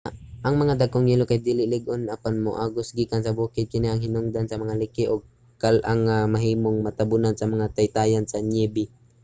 ang mga dagkong yelo kay dili lig-on apan moagos gikan sa bukid. kini ang hinungdan sa mga liki ug kal-ang nga mahimong matabunan sa mga taytayan sa niyebe